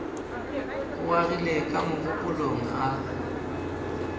o agile ka mogopolong a